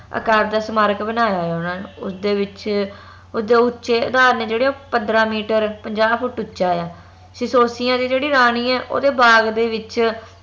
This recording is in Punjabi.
ਆਕਾਰ ਦਾ ਸਮਾਰਕ ਬਨਾਯਾ ਆ ਓਹਨਾ ਨੇ ਉਸ ਦੇ ਵਿਚ ਓਸ ਦੇ ਉਚੇ ਅਧਾਰ ਨੇ ਜਿਹੜੇ ਓਹ ਪੰਦਰਾਂ ਮੀਟਰ ਪੰਜਾ ਫੁੱਟ ਉਚਾ ਆ ਸਿਸੋਸਿਯਾ ਦੀ ਜੇਹੜੀ ਰਾਨੀ ਆ ਓਂਦੇ ਬਾਗ ਦੇ ਵਿਚ